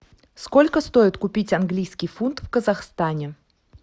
сколько стоит купить английский фунт в казахстане